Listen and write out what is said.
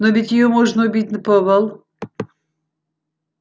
но ведь её можно убить наповал